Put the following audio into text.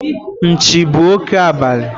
Nchi bụ òké abalị